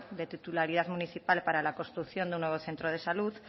de titularidad municipal para la construcción de un nuevo centro de salud